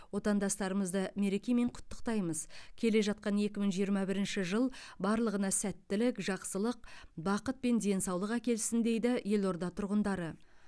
отандастарымызды мерекемен құттықтаймыз келе жатқан екі мың жиырма бірінші жыл барлығына сәттілік жақсылық бақыт пен денсаулық әкелсін дейді елорда тұрғындары